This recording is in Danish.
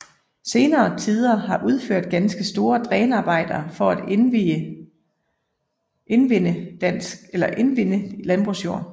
Senere tider har udført ganske store drænarbejder for at indvinde landbrugsjord